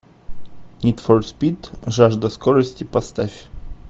нид фор спид жажда скорости поставь